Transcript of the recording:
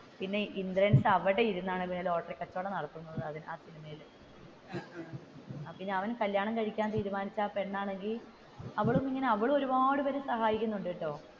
പിന്നെ ഇന്ദ്രൻസ് അവിടെയിരുന്നാണ് ലോട്ടറി കച്ചവടം നടത്തുന്നത പിന്നെ കല്യാണം കഴിക്കാൻ തീരുമാനിച്ച പെണ്ണാണെങ്കിൽ അവളും ഒരുപാട് പേരെ സഹായിക്കുന്നുണ്ടാട്ടോ.